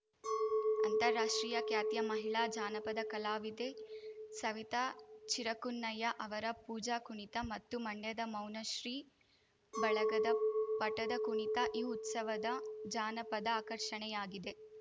ಅಂತಾರಾಷ್ಟ್ರೀಯ ಖ್ಯಾತಿಯ ಮಹಿಳಾ ಜಾನಪದ ಕಲಾವಿದೆ ಸವಿತಾ ಚಿರಕುನ್ನಯ್ಯ ಅವರ ಪೂಜಾ ಕುಣಿತ ಮತ್ತು ಮಂಡ್ಯದ ಮೌನಶ್ರೀ ಬಳಗದ ಪಟದ ಕುಣಿತ ಈ ಉತ್ಸವದ ಜಾನಪದ ಆಕರ್ಷಣೆಯಾಗಿದೆ